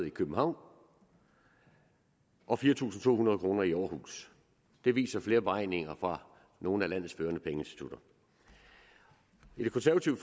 i københavn og fire tusind to hundrede kroner i århus det viser flere beregninger fra nogle af landets førende pengeinstitutter i det konservative